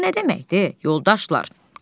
Bu nə deməkdir, yoldaşlar?